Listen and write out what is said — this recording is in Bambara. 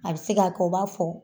A bi se ka kɛ, u b'a fɔ